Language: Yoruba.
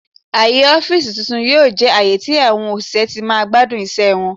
Aaye ọfiisi tun-tun yoo jẹ aaye tí àwọn òṣìṣẹ́ ti máa gbadun iṣẹ wọn.